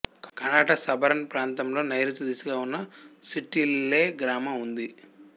కనాట suburban ప్రాంతంలో నైరుతి దిశగా ఉన్న స్టిట్ట్విల్లే గ్రామం ఉంది